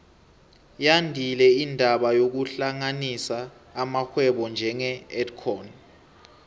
yandile indaba yokuhlanganisa amarhwebo njenge edcon